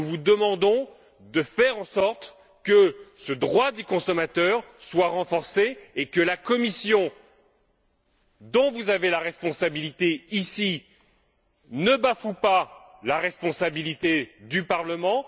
de faire en sorte que ce droit des consommateurs soit renforcé et que la Commission, dont vous avez la responsabilité, ici, ne bafoue pas la responsabilité du Parlement.